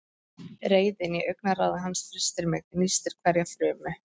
Reiðin í augnaráði hans frystir mig, nístir hverja frumu.